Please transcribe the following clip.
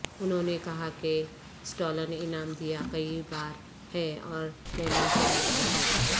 انہوں نے کہا کہ سٹالن انعام دیا کئی بار ہے اور لینن سے نوازا گیا